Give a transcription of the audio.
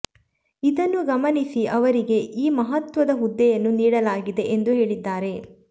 ಇದನ್ನು ಗಮನಿಸಿ ಅವರಿಗೆ ಈ ಮಹತ್ವದ ಹುದ್ದೆಯನ್ನು ನೀಡಲಾಗಿದೆ ಎಂದು ಹೇಳಿದ್ದಾರೆ